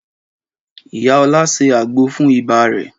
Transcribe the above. Ìyá Ọlá se àgbo fún ibà rẹ̀.